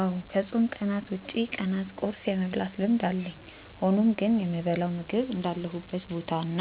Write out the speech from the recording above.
አዎ ከፆም ቀናት ውጪ ቀናት ቁርስ የመብላት ልምድ አለኝ። ሆኖም ግን የምበላው ምግብ እንዳለሁበት ቦታ እና